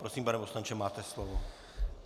Prosím, pane poslanče, máte slovo.